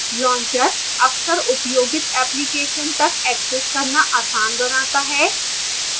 launcher अक्सर उपयोगित applications तक access करना आसान बनाता है